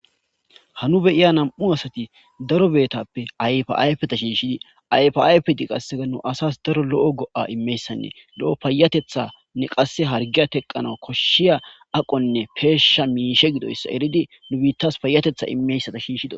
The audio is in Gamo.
Ha nu be7iya nam7u asathi darobeethappe ayfaa ayfetha shiishshi ayfaa ayfethikka qas nu asas daro lo7o go7aa immiyazayssanne lo7o payyatheththaanne qassi harggiya theqqanawu koshshiya aqonne peeshsha miishe gidoyssa eredi nu biiththessa payyatheththa immeysatha shiishshidi.